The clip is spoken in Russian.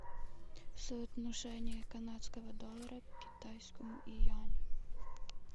соотношение канадского доллара к китайскому юань